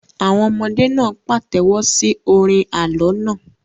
Àwọn ọmọdé náà pàtẹ́wọ́ sí orin àlọ́ náà.